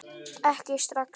Ekki strax